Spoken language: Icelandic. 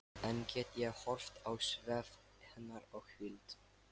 Enn get ég horft á svefn hennar og hvíld.